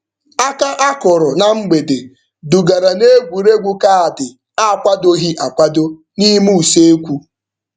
Aka a kụrụ na mberede dugara n'egwuregwu kaadị akwadoghị akwado n'ime usekwu.